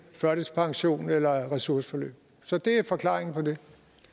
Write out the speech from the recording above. førtidspension eller ressourceforløb så det er forklaringen på det